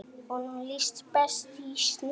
Honum liði best í sjónum.